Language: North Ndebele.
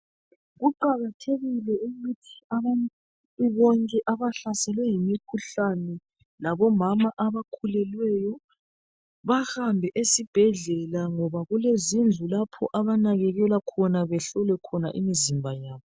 Kuqakathekile ukuthi abantu bonke abahlaselwe yimikhuhlane labomama abakhulelweyo bahamba esibhedlela ngoba kulezindlu lapho abanakekelwa khona , behlolwe khona imizimba yabo.